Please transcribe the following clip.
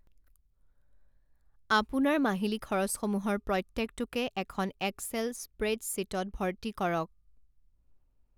আপোনাৰ মাহিলি খৰচসমূহৰ প্ৰত্যেকটোকে এখন এক্সেল স্প্ৰেডশ্বীটত ভৰ্তি কৰক।